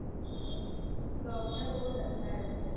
job ને બહુ ડખા અત્યારે.